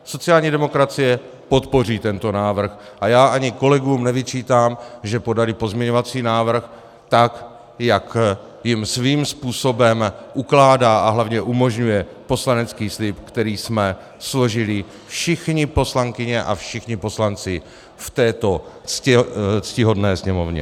Sociální demokracie podpoří tento návrh a já ani kolegům nevyčítám, že podali pozměňovací návrh tak, jak jim svým způsobem ukládá a hlavně umožňuje poslanecký slib, který jsme složili všechny poslankyně a všichni poslanci v této ctihodné Sněmovně.